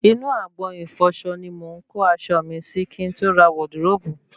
Inú agbọ̀n ìfọsọ ni mò ń kó aṣọ mi sí kí n tó ra wọdiróòbù